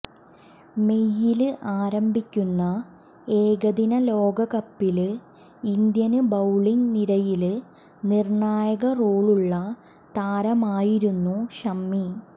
mail ആരംഭിക്കുന്ന ഏകദിന ലോകകപ്പില് ഇന്ത്യന് ബൌളിങ് നിരയില് നിര്ണായക റോളുള്ള താരമായിരുന്നു ഷമി